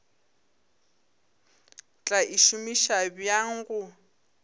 tla e šomiša bjang go